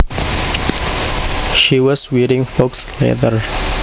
She was wearing faux leather